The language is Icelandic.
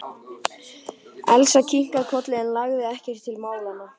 Elsa kinkaði kolli en lagði ekkert til málanna.